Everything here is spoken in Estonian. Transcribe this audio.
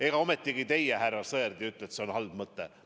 Ega ometigi teie, härra Sõerd, ei ütle, et see on halb mõte?